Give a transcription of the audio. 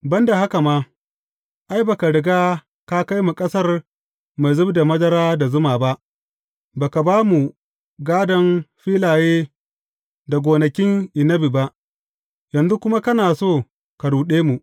Ban da haka ma, ai, ba ka riga ka kai mu ƙasar mai zub da madara da zuma ba, ba ka ba mu gādon filaye da gonakin annabi ba, yanzu kuma kana so ka ruɗe mu.